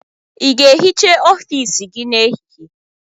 Ị ga-ehicha ọfiisi gị n'ehihie?